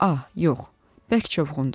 A, yox, bərk çovğundur.